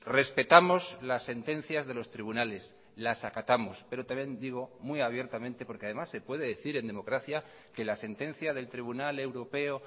respetamos las sentencias de los tribunales las acatamos pero también digo muy abiertamente porque además se puede decir en democracia que la sentencia del tribunal europeo